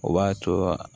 O b'a co